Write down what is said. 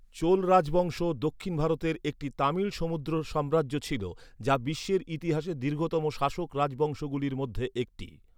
চোল রাজবংশ দক্ষিণ ভারতের একটি তামিল সমুদ্র সাম্রাজ্য ছিল, যা বিশ্বের ইতিহাসে দীর্ঘতম শাসক রাজবংশগুলির মধ্যে একটি।